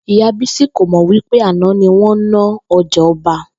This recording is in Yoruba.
Ìyá Bísí kò mò̩ wí pé àná ni wó̩n ná o̩jà o̩ba